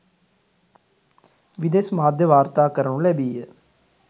විදෙස් මාධ්‍ය වාර්තා කරනු ලැබීය.